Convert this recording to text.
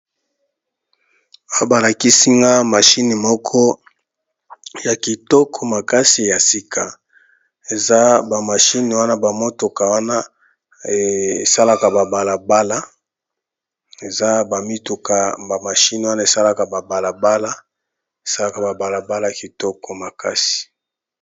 Awa ba lakisi nga machine moko ya kitoko makasi ya sika, eza ba machine wana ba mituka wana e salaka ba balabala, eza ba mituka ba machine wana e salaka ba balabala es alaka ba balabala ya kitoko makasi .